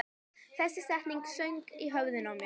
Þessi setning söng í höfðinu á mér.